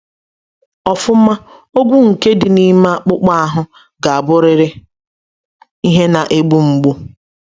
Ọfụma, ogwu nke dị n’ime akpụkpọ ahụ ga-abụrịrị ihe na-egbu mgbu.